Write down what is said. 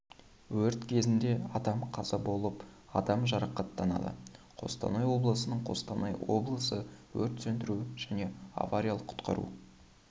өрт кезінде адам қаза болып адам жарақаттанады қостанай облысының қостанай облысы өрт сөндіру және авариялық құтқару